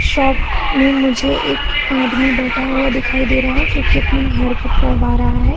Shop में मुझे एक आदमी बैठा हुआ दिखाई दे रहा है जो कि अपनी हेयर कट करवा रहा है।